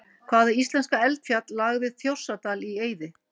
Hvaða íslenska eldfjall lagði Þjórsárdal í eyði?